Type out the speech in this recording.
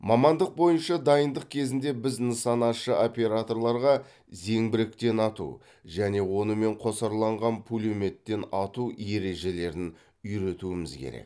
мамандық бойынша дайындық кезінде біз нысанашы операторларға зеңбіректен ату және онымен қосарланған пулеметтен ату ережелерін үйретуіміз керек